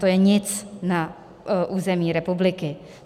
To je nic na území republiky.